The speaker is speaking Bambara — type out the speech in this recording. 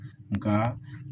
Nka